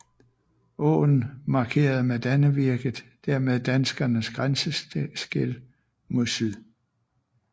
Åen markerede med Dannevirket dermed danskernes grænseskel mod syd